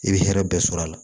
I bɛ hɛrɛ bɛɛ sɔrɔ a la